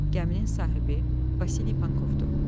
Gəminin sahibi Vasili Pankovdur.